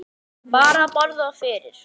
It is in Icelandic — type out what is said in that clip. Bar það á borð fyrir